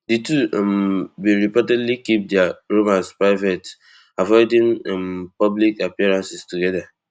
di two um bin reportedly keep dia romance private avoiding um public appearances together